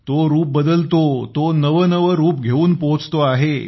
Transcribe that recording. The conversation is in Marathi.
तो रूप बदलतो तो नवनवे रूप घेऊन पोहोचतो आहे